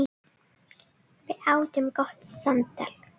Við áttum gott samtal.